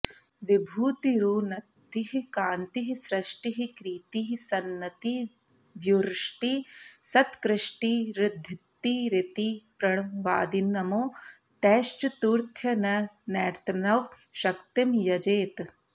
विभूतिरुन्नतिः कान्तिः सृष्टिः कीर्तिः सन्नतिर्व्युष्टिः सत्कृष्टिरृद्धिरिति प्रणवादिनमो तैश्चतुर्थ्यन्तैर्नवशक्तिं यजेत्